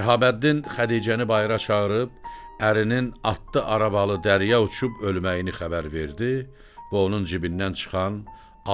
Şəhabəddin Xədicəni bayıra çağırıb ərinin atlı arabalı dərya uçub ölməyini xəbər verdi və onun cibindən çıxan